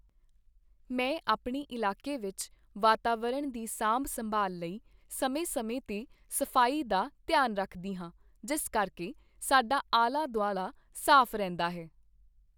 ਮੈਂ ਆਪਣੇ ਇਲਾਕੇ ਵਿੱਚ ਵਾਤਾਵਰਨ ਦੀ ਸਾਂਭ ਸੰਭਾਲ ਲਈ ਸਮੇਂ-ਸਮੇਂ 'ਤੇ ਸਫ਼ਾਈ ਦਾ ਧਿਆਨ ਰੱਖਦੀ ਹਾਂ, ਜਿਸ ਕਰਕੇ ਸਾਡਾ ਆਲਾ ਦੁਆਲਾ ਸਾਫ਼ ਰਹਿੰਦਾ ਹੈ।